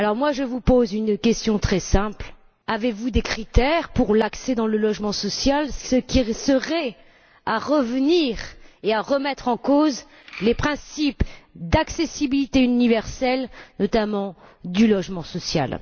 Je vous pose une question très simple avez vous des critères pour l'accès au logement social, ce qui serait un retour en arrière et une remise en cause des principes d'accessibilité universelle, notamment du logement social?